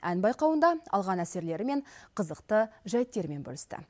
ән байқауында алған әсерлері мен қызықты жайттермен бөлісті